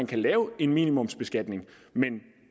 kan lave en minimumsbeskatning men